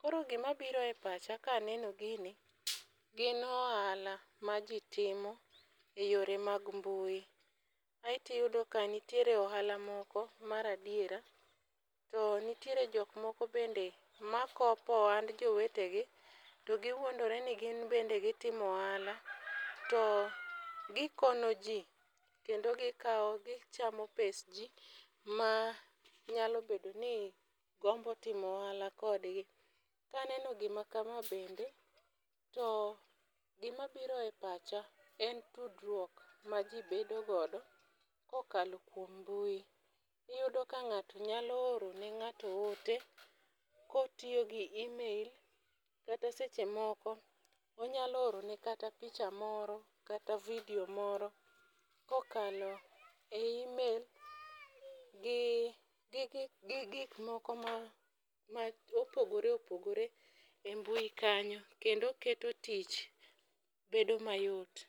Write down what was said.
Koro gima biro e pacha kaneno gini gin ohala ma jii timo e yore mag mbui aeto iyudo ka nitiere ohala moko mag adiera to nitiere jok moko makopo ohand jowetegi to giwuondre ni gin bende gitimo ohala to gikono jii kendo gikawo gichamo pes jii manyalo bedo ni gombo timo ohala kodgi .Kaneno gima kama bende to gima biro e pacha en tudruok ma jii bedo godo kokalo kuom mbui. Iyudo ka ng'ato nyalo oro ne ng'ato ote kotiyo gi email kata seche moko onyalo oro ne kata picha moro kata vidio moro kokalo e email gi gi gi gik moko ma opogore opogore e mbui kanyo kendo keto tich bedo mayot.